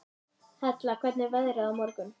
Þá er að reyna á það, sagði Ari.